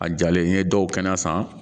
A jalen n'i ye dɔw kɛnɛ san